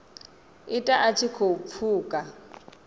ita a tshi khou pfuka